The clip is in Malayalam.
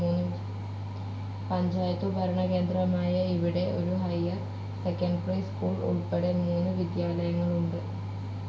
പഞ്ചായത്തു ഭരണകേന്ദ്രമായ ഇവിടെ ഒരു ഹൈർ സെക്കൻഡറി സ്കൂൾ ഉൾപ്പെടെ മൂന്നു വിദ്യാലയങ്ങൾ ഉണ്ട്.